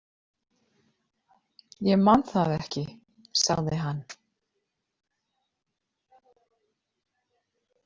Ég man það ekki, sagði hann.